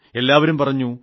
എല്ലാവരും പറഞ്ഞു